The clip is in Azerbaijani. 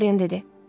Dorian dedi.